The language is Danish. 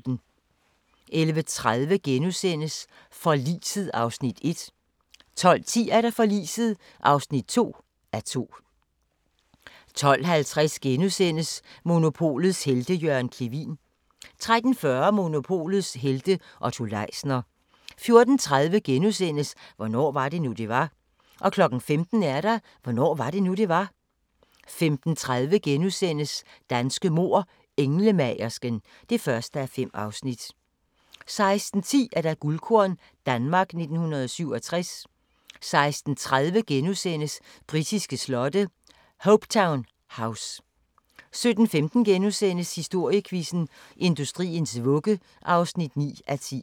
11:30: Forliset (1:2)* 12:10: Forliset (2:2) 12:50: Monopolets helte - Jørgen Clevin * 13:40: Monopolets helte - Otto Leisner 14:30: Hvornår var det nu, det var? * 15:00: Hvornår var det nu, det var? 15:30: Danske mord: Englemagersken (1:5)* 16:10: Guldkorn – Danmark i 1967 16:30: Britiske slotte: Hopetoun House (5:6)* 17:15: Historiequizzen: Industriens vugge (9:10)*